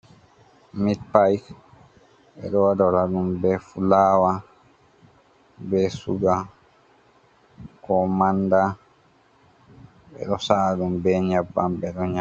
Mit payp ɓe waɗora ɗum bee fulaawa, bee suga koo Mannda ɓe ɗo sa'a ɗum bee nyebbam ɓe ɗo nya.